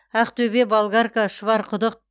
ақтөбе болгарка шұбарқұдық